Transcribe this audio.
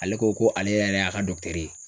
Ale ko ko ale yɛrɛ y'a ka ye.